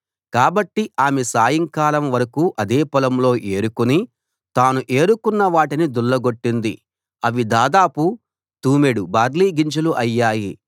కాబట్టి ఆమె సాయంకాలం వరకూ అదే పొలంలో ఏరుకుని తాను ఏరుకున్న వాటిని దుళ్ళగొట్టింది అవి దాదాపు తూమెడు బార్లీ గింజలు అయ్యాయి